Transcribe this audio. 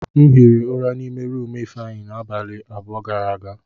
M hiri ụra n'ime rumụ Ifeanyị abalị abụọ gara aga.